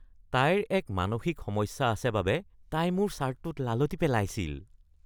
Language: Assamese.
তাইৰ এক মানসিক সমস্যা আছে বাবে তাই মোৰ ছাৰ্টটোত লালটি পেলাইছিল।